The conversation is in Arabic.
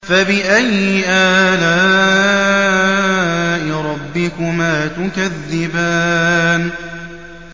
فَبِأَيِّ آلَاءِ رَبِّكُمَا تُكَذِّبَانِ